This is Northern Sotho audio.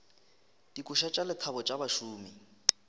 dikoša tša lethabo tša bašomi